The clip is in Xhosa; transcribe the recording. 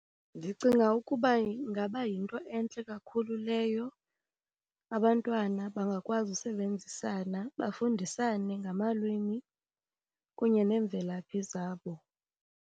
Ndicinga ukuba ingaba yinto entle kakhulu leyo, abantwana bangakwazi usebenzisana bafundisane ngamalwimi kunye neemvelaphi zabo.